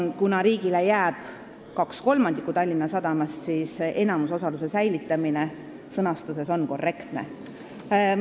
Kuna riigile jääb 2/3 Tallinna Sadamast, siis "enamusosaluse" säilitamine sõnastuses on korrektne.